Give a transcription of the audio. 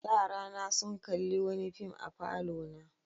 Yarana sun kalli wani fim a falona.